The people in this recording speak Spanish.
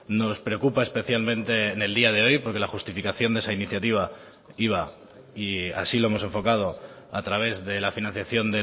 nos preocupa especialmente en el día de hoy porque la justificación de esa iniciativa iba y así lo hemos enfocado a través de la financiación